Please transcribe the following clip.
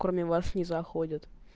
кроме вас не заходит